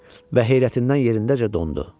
Və heyrətindən yerindəcə dondu.